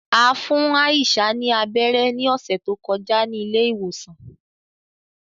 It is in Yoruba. A fun Aisha ni abẹrẹ ni ọsẹ to kọja ni ile-iwosan.